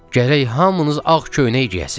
Gərək hamınız ağ köynək geyəsiz.